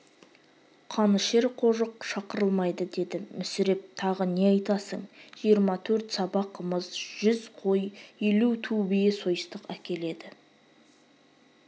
қанішер қожық шақырылмайды деді мүсіреп тағы не айтасың жиырма төрт саба қымыз жүз қой елу ту бие сойыстық әкеледі